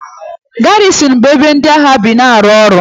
Garizin bụ ebe ndị agha bi ma na-arụ ọrụ.